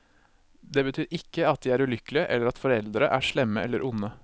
Det betyr ikke at de er ulykkelige eller at foreldre er slemme eller onde.